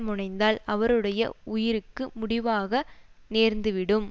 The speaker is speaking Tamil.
முனைந்தால் அவருடைய உயிர்க்கு முடிவாக நேர்ந்துவிடும்